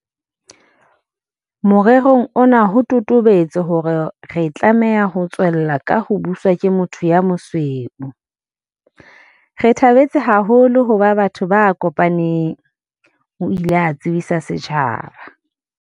Morerong ona ho totobetse hore re tlameha ho tswella ka ho buswa ke motho ya mosweu."Re thabetse haholo ho ba batho ba kopaneng," o ile a tsebisa lefatshe.